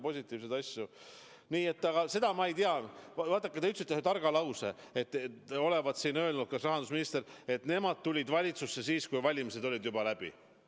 Vaadake, te ütlesite ühe targa lause, et rahandusminister olevat öelnud, et nemad tulid valitsusse siis, kui valimised olid juba läbi.